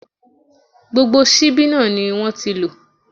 Gbogbo ṣíbí náà ni wọ́n ti lò.